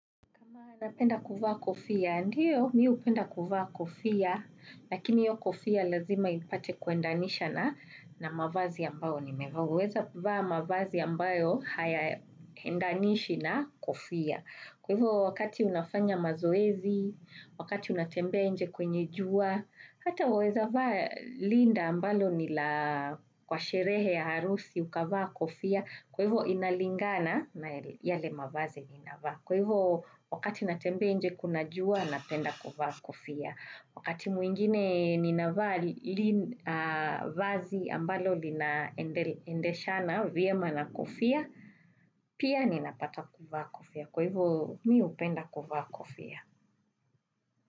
Kama napenda kuvaa kofia, ndio miu penda kuvaa kofia, lakini io kofia lazima ipate kuendanisha na mavazi ambayo ni meweza vaa mavazi ambayo haya endanishi na kofia. Kwa hivyo wakati unafanya mazoezi, wakati unatembea enje kwenye jua, hata uweza vaa linda ambalo nila kwa sherehe ya harusi ukavaa kofia, kwa hivyo inalingana na yale mavazi ni inavaa. Kwa hivo wakati natembea nje kuna jua napenda kuvaa kofia. Wakati mwingine nina vazi ambalo linaendesha na vyema na kofia, pia nina pata kufa kofia. Kwa hivyo, mi upenda kufa kofia.